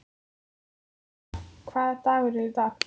Sæmunda, hvaða dagur er í dag?